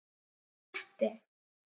Kletti